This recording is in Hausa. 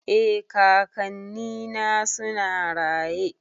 Eh kakanni na suna raye